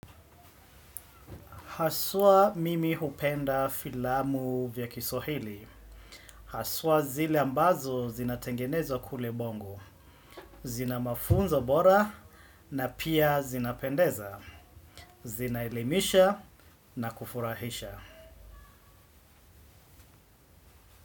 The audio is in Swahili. Haswa mimi hupenda filamu vya kiswahili. Haswa zile ambazo zinatengenezwa kule bongo. Zina mafunzo bora na pia zinapendeza. Zinaelimisha na kufurahisha.